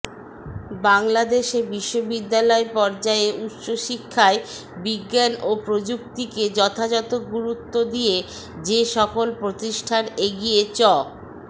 বাংলাদেশে বিশ্ববিদ্যালয় পর্যায়ে উচ্চশিক্ষায় বিজ্ঞান ও প্রযুক্তিকে যথাযথ গুরুত্ব দিয়ে যে সকল প্রতিষ্ঠান এগিয়ে চ